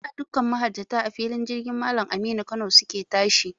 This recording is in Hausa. Da, dukkan mahajjata, a filin jirgin Mallam Aminu Kano su ke tashi.